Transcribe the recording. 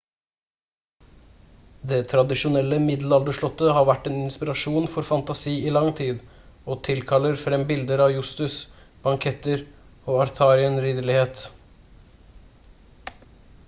det tradisjonelle middelalderslottet har vært en inspirasjon for fantasi i lang tid og tilkaller frem bilder av jousts banketter og arthurian ridderlighet